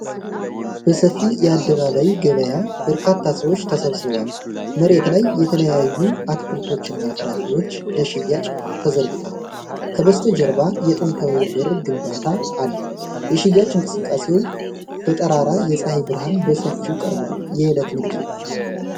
በሰፊ የአደባባይ ገበያ በርካታ ሰዎች ተሰብስበዋል። መሬት ላይ የተለያዩ አትክልቶችና ፍራፍሬዎች ለሽያጭ ተዘርግተዋል። ከበስተጀርባ የጥንታዊ በር ግንባታ አለ። የሽያጭ እንቅስቃሴው በጠራራ የፀሐይ ብርሃን በሰፊው ቀርቧል። የዕለት ንግድ ነው።